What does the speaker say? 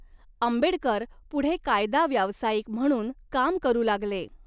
आंबेडकर पुढे कायदा व्यावसायिक म्हणून काम करू लागले.